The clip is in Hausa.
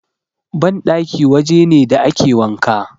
Banɗaki waje ne da ake wanka.